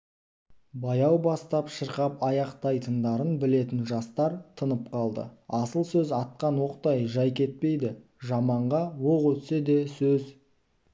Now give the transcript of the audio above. баяу бастап шырқап аяқтайтындарын білетін жастар тынып қалды асыл сөз атқан оқтай жай кетпейді жаманға оқ өтсе де сөз